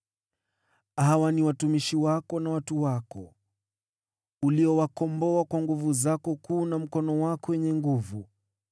“Hawa ni watumishi wako na watu wako, uliowakomboa kwa nguvu zako kuu na mkono wako wenye nguvu.